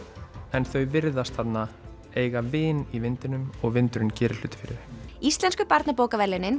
en þau virðast eiga vin í vindinum og vindurinn gerir hluti fyrir þau íslensku barnabókaverðlaunin